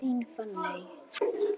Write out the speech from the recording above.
Þín, Fanney.